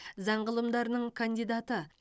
заң ғылымдарының кандидаты